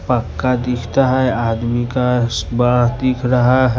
पक्का दिखाता है आदमी का सुबह दिख रहा है।